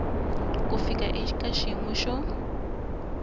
ku fika eka xiyimo xo